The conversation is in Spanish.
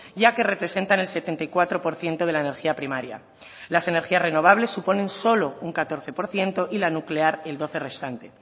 ya que representan el setenta y cuatro por ciento de la energía primaria las energías renovables suponen solo un catorce por ciento y la nuclear el doce restante